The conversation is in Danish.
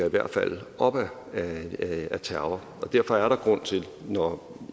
i hvert fald ligger op ad terror derfor er der grund til når